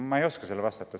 Ma ei oska sellele vastata.